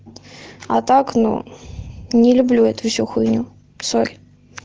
а так ну не люблю эту всю хуйню сори